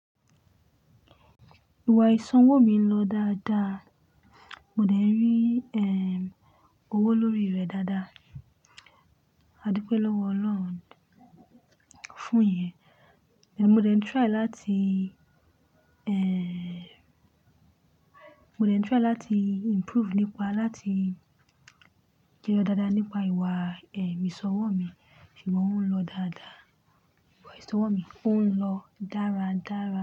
Ìwà ìsọ̀wọ́ mi ń lọ dáadáa. Mo dẹ̀ rí, ẹh, owó lórí rẹ̀ dáadáa. A dípé lọ́wọ́ Ọlọ́run fún iye. Mo dẹ̀ ń try láti, ẹh, mo dẹ̀ ń try láti improve nípa láti jẹyọ dáadáa nípa ìwà, ẹh, ìsọ̀wọ́ mi. Ṣùgbọ́n ó ń lọ dáadáa. Ìwà ìsọ̀wọ́ mi ó ń lọ dáradára.